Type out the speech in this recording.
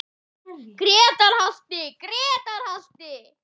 Grétar halti, Grétar halti!